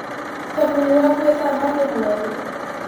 Thabuni wa gwithamba nĩ mwerũ.